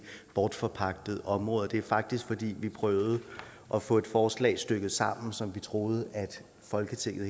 bortforpagtede områder det er faktisk fordi vi prøvede at få et forslag stykket sammen som vi troede at folketinget